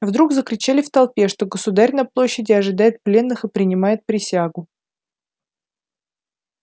вдруг закричали в толпе что государь на площади ожидает пленных и принимает присягу